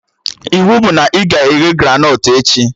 Iwu bụ na ị ga-eghe granọt echi!